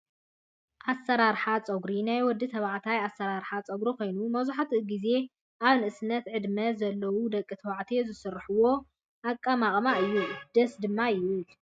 ኣሰራርሓ ፀጉሪ፦ ናይ ወዲ ተባዕታይ ኣሰራርሓ ፀጉሪ ኮይኑ መብዛሕቲኡ ግዜ ኣብ ንእሰነት ዕድመ ዘው ደቂ ተባዕትዮ ዝስርሕዎ ኣቀማቅማ እዩ። ደስ ድማ ይብል።